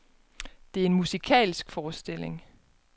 Det er en musikalsk forestilling.